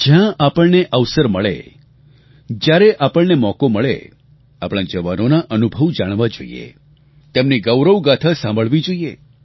જ્યાં આપણને અવસર મળે જયારે આપણને મોકો મળે આપણા જવાનોનાં અનુભવ જાણવા જોઈએ તેમની ગૌરવગાથા સાંભળવી જોઈએ